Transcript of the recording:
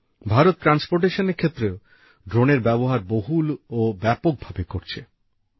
ভারত পরিবহণের ক্ষেত্রে ড্রোনের ব্যবহার বহুল ও ব্যাপক ভাবে করছে